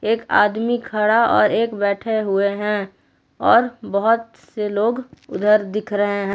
एक आदमी खड़ा और एक बैठे हुए हैं और बहोत से लोग उधर दिख रहे हैं।